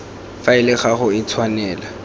faele ga go a tshwanela